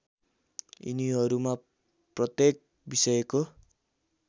यिनीहरूमा प्रत्येक विषयको